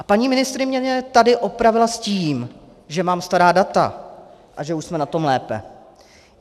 A paní ministryně mě tady opravila s tím, že mám stará data a že už jsme na tom lépe.